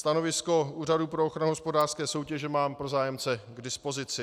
Stanovisko Úřadu pro ochranu hospodářské soutěže mám pro zájemce k dispozici.